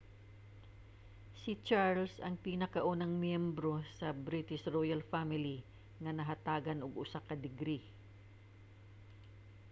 si charles ang pinakaunang miyembro sa british royal family nga nahatagan og usa ka degree